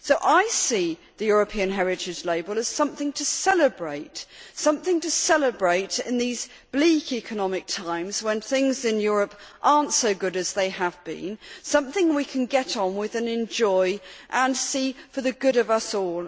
I see the European Heritage Label as something to celebrate in these bleak economic times when things in Europe are not as good as they have been, something we can get on with and enjoy and see for the good of us all.